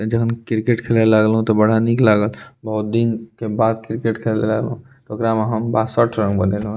अ जहन क्रिकेट खेले लागलो ते बड़ा निक लागल बहुत दिन के बाद क्रिकेट खेले लागलो ते ओकरा में हम बासठ रन बनेएलो ये।